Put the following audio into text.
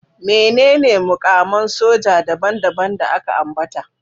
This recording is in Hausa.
Menene mukaman soja daban-daban da aka ambata?